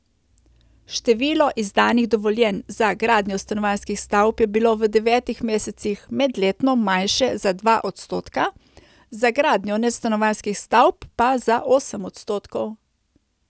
Število izdanih dovoljenj za gradnjo stanovanjskih stavb je bilo v devetih mesecih medletno manjše za dva odstotka, za gradnjo nestanovanjskih stavb pa za osem odstotkov.